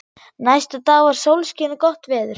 Næsta dag var sólskin og gott veður.